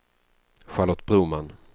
Charlotte Broman